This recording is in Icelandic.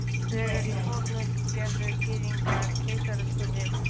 Þegar í fornöld gerðu Gyðingar keisaraskurði.